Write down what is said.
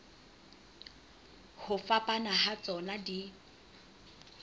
ho fapana ha tsona di